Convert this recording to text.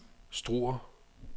Struer